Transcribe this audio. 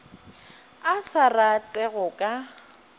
a sa rate go ka